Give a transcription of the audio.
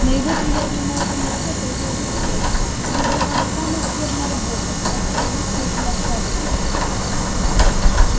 на его приятном молодом лице появилась усмешка мне досталась самая скверная работа так что лучше уж не откладывать